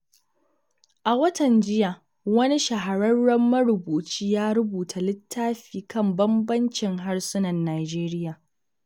A watan jiya, wani shahararren marubuci ya rubuta littafi kan bambancin harsunan Najeriya.